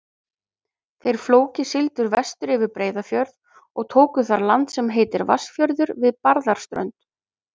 Þeir Flóki sigldu vestur yfir Breiðafjörð og tóku þar land sem heitir Vatnsfjörður við Barðaströnd.